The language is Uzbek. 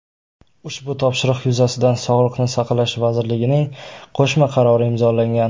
Ushbu topshiriq yuzasidan Sog‘liqni saqlash vazirligining qo‘shma qarori imzolangan.